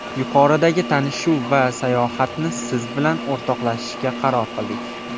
Yuqoridagi tanishuv va sayohatni siz bilan o‘rtoqlashishga qaror qildik.